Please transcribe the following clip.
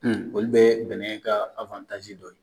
Olu bɛ bɛnɛ ka dɔ ye